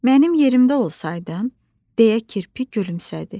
Mənim yerimdə olsaydın, deyə kirpi gülümsədi.